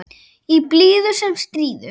Í blíðu sem stríðu.